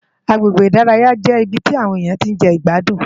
Àgbégbé Idàráyá jé ibi ti áwòn éniyán ti n je igbádún